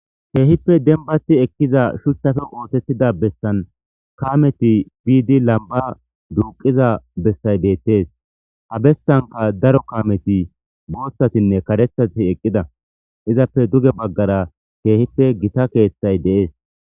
keehippe denbati ekkiza shuchafe ootettida bessan kaameti biidi lamba duuqiza bessay beettees ha bessanka daro kaameti booththatinne karethati eqqida izappe duge baggara keehippe gita keeththay deees